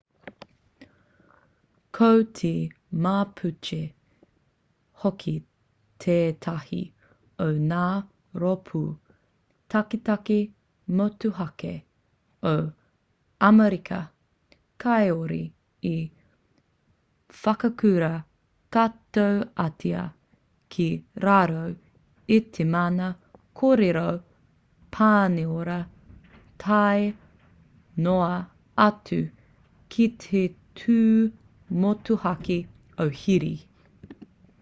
ko te mapuche hoki tētahi o ngā rōpū taketake motuhake o amerika kāore i whakaurua katoatia ki raro i te mana kōrero-pāniora tae noa atu ki te tū motuhake o hiri